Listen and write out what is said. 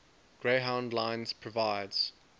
greyhound lines provides